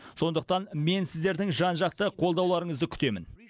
сондықтан мен сіздердің жан жақты қолдауларыңызды күтемін